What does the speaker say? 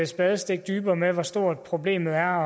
spadestik dybere med hvor stort problemet er og